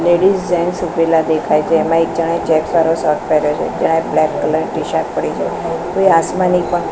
ladies gents ઉભેલા દેખાય છે એમા એક જણે ચેક્સ વાળો શર્ટ પેહેર્યો છે એક જણાએ બ્લેક કલર નું ટીશર્ટ પડી છે કોઈ આસમાની પણ--